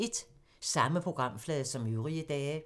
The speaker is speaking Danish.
Samme programflade som øvrige dage